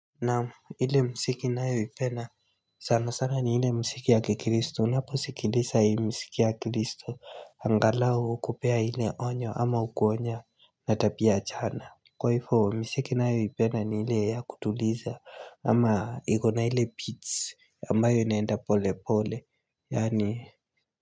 Naam ile muziki ninayoipenda sana sana ni ile muziki ya Kikristo unaposikiliza hii muziki ya Kristo angalau kupea hile onyo ama hukuonya na tabia chana Kwa hivo miziki nayoipenda ni ile ya kutuliza ama ikona ile beats ambayo inaenda pole pole yaani.